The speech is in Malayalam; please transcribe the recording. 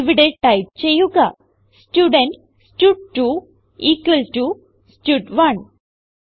ഇവിടെ ടൈപ്പ് ചെയ്യുക സ്റ്റുഡെന്റ് സ്റ്റഡ്2 ഇക്വൽ ടോ സ്റ്റഡ്1